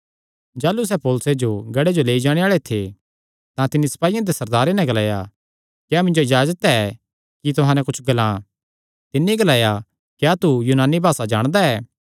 जाह़लू सैह़ पौलुसे जो गढ़े जो लेई जाणे आल़े थे तां तिन्नी सपाईयां दे सरदारे नैं ग्लाया क्या मिन्जो इजाजत ऐ कि तुहां नैं कुच्छ ग्लां तिन्नी ग्लाया क्या तू यूनानी भासा जाणदा ऐ